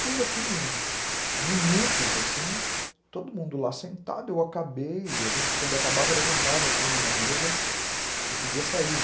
Fiz aquilo em minutos, assim, todo mundo lá sentado, eu acabei e a gente quando acabava levantava a punha na mesa e podia sair.